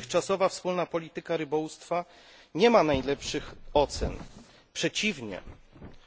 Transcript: Dotychczasowa wspólna polityka rybołówstwa nie ma najlepszych ocen, przeciwnie